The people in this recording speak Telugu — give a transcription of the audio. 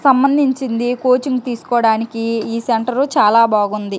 సంబంధించింది కోచింగ్ తీసుకోడానికి ఈ సెంటర్ చాలా బాగుంది.